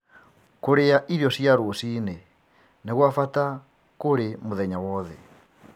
Kũrĩa irio cia rũciinĩ nĩ gwa bata kũrĩ mũthenya wothe.